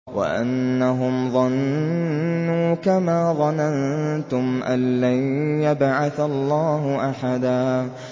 وَأَنَّهُمْ ظَنُّوا كَمَا ظَنَنتُمْ أَن لَّن يَبْعَثَ اللَّهُ أَحَدًا